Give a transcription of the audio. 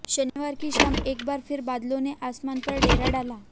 शनिवार की शाम एक बार फिर बादलों ने आसमान पर डेरा डाला